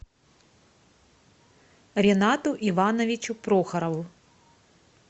ренату ивановичу прохорову